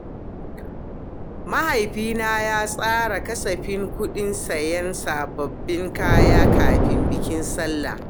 Mahaifina ya tsara kasafin kuɗin sayan sababbin kaya kafin bikin sallah.